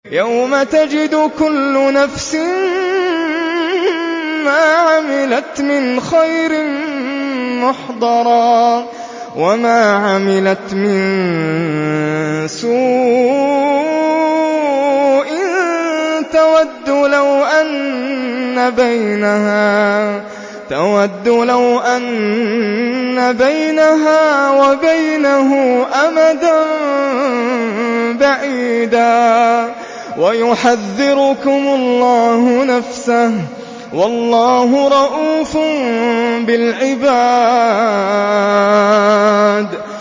يَوْمَ تَجِدُ كُلُّ نَفْسٍ مَّا عَمِلَتْ مِنْ خَيْرٍ مُّحْضَرًا وَمَا عَمِلَتْ مِن سُوءٍ تَوَدُّ لَوْ أَنَّ بَيْنَهَا وَبَيْنَهُ أَمَدًا بَعِيدًا ۗ وَيُحَذِّرُكُمُ اللَّهُ نَفْسَهُ ۗ وَاللَّهُ رَءُوفٌ بِالْعِبَادِ